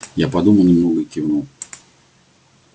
я подумал немного и кивнул